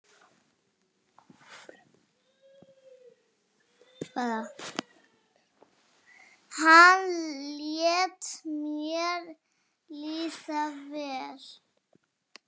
hann lét mér líða vel.